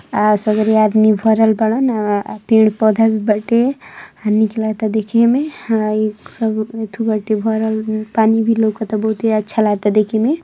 आ सगरी आदमी भरल बने। आ पेड पौधा भी बाटे। आ निक लागता देखले में। आ इ सब उथु बाटे भरल पानी बी लउकता बहुते अच्छा लागता देखे में |